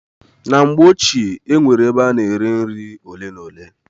Na mgbe ochie, e nwere ebe a na-ere nri ole na ole.